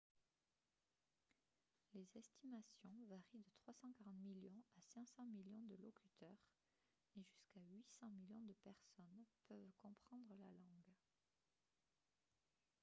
les estimations varient de 340 millions à 500 millions de locuteurs et jusqu'à 800 millions de personnes peuvent comprendre la langue